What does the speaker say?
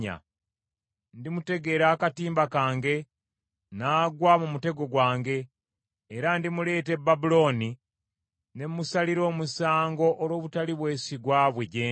Ndimutegera akatimba kange, n’agwa mu mutego gwange, era ndimuleeta e Babulooni ne musalira omusango olw’obutali bwesigwa bwe gye ndi.